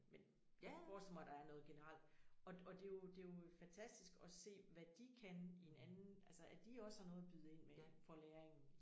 Men men jeg forestiller mig der er noget generelt og det og det jo det jo fantastisk at se hvad de kan i en anden altså at de også har noget at byde ind med for læringen